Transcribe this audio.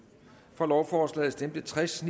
for lovforslaget stemte tres